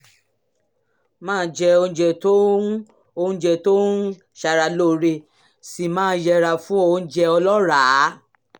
máa jẹ oúnjẹ tó ń oúnjẹ tó ń ṣara lóore sì máa yẹra fún oúnjẹ ọlọ́ràá